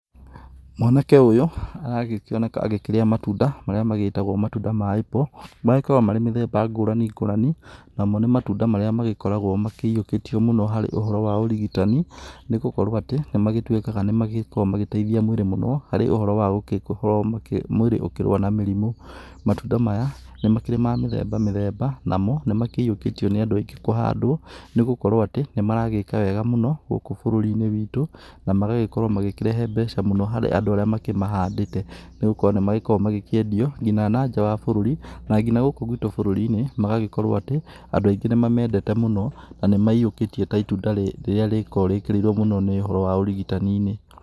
Mwanake ũyũ aragĩkĩoneka agĩkĩrĩa matunda marĩa magĩtagwo matunda ma Apple. Magĩkoragwo marĩ mĩthemba ngũrani ngũrani, namo nĩ matunda marĩa magĩkoragwo makĩyĩũkĩtio mũno harĩ ũhoro wa ũrigitani, nĩgũkorwo atĩ nĩ magĩtuĩkaga nĩmagĩkoragwo magĩteithia mwĩrĩ mũno harĩ ũhoro wa mwĩrĩ ũgĩkorwo ũkĩrũa na mĩrimũ. Matunda maya nĩ makĩrĩ ma mĩthemba mĩthemba namo nĩ makĩyĩũkĩtio nĩ andũ aingĩ kũhandwo nĩgũkorwo atĩ nĩ maragĩka wega mũno gũkũ bũrũri-inĩ witũ na magagĩkorwo magĩkĩrehe mbeca mũno harĩ andũ arĩa makĩmahandĩte, nĩgũkorwo nĩ makoragwo makĩendio nginya na nja wa bũrũri na ngina gũkũ gwitũ bũrũri-inĩ magagĩkorwo atĩ andũ aingĩ nĩ mamendete mũno na nĩ mayĩũkĩtie ta ĩtunda rĩrĩa rĩkoragwo rĩkĩrĩirwo mũno nĩ ũhoro wa ũrigitani-inĩ.